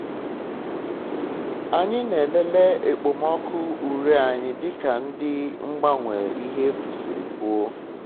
anyị na-elele okpomọkụ ure anyị dịka ndị mgbanwe ihe efu siri kwuo